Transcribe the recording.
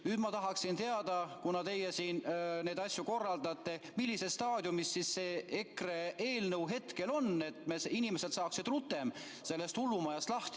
Nüüd ma tahaksin teada, kuna teie siin neid asju korraldate, millises staadiumis see EKRE eelnõu hetkel on, et inimesed saaksid rutem lahti sellest hullumajast.